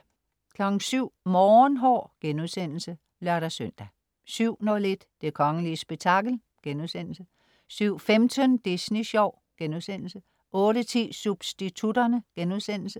07.00 Morgenhår* (lør-søn) 07.01 Det kongelige spektakel* 07.15 Disney Sjov* 08.10 Substitutterne*